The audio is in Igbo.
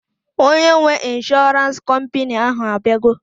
Onye nwee ịnshọransị kọmpini ahụ abịago